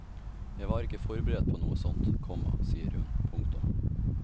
Jeg var ikke forberedt på noe sånt, komma sier hun. punktum